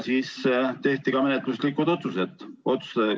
Tehti ka menetluslikud otsused.